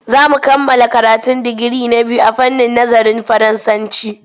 Za mu kammala karatun digiri na biyu a fannin nazarin Faransanci.